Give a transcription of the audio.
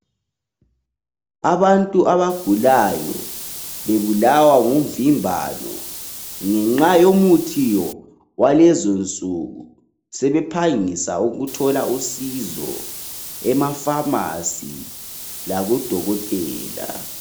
Abantu abagulayo bebulawa ngumvimbano ngenxa yomuthi walezonsuku sebephangisa ukuthola usizo ema pharmacy laku dokotela